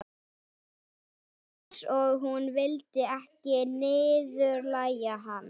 Það var eins og hún vildi ekki niðurlægja hann.